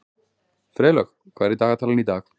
Freylaug, hvað er í dagatalinu í dag?